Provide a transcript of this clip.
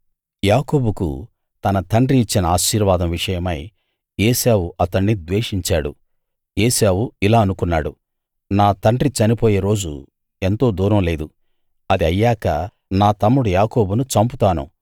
యకోబుకు తన తండ్రి ఇచ్చిన ఆశీర్వాదం విషయమై ఏశావు అతణ్ణి ద్వేషించాడు ఏశావు ఇలా అనుకున్నాడు నా తండ్రి చనిపోయే రోజు ఎంతో దూరం లేదు అది అయ్యాక నా తమ్ముడు యాకోబును చంపుతాను